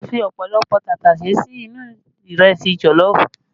A fi ọ̀pọ̀lọpọ̀ tàtàṣé sí inú ìrẹsì jọ̀lọ́ọ̀fù